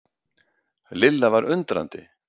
Lilla var undrandi.